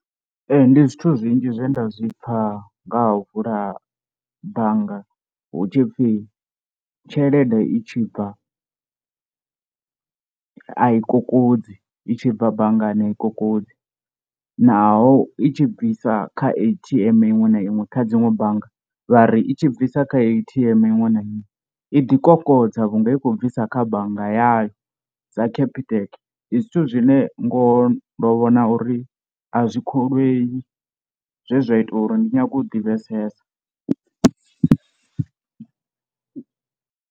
Ee ndi zwithu zwinzhi zwe nda zwi pfha nga ha u vula bannga, hu tshipfi tshelede i tshi bva a i kokodzi i tshi bva banngani a i kokodzi naho i tshi bvisa kha A_T_M iṅwe na iṅwe kha dziṅwe bannga. Vha ri i tshi bvisa kha A_T_M iṅwe na iṅwe i ḓi kokodza vhunga i khou bvisa kha bannga yayo sa Capitec ndi zwithu zwine ngoho ndo vhona uri a zwi kholwei zwezwa ita uri ndi nyage u ḓivhesesa.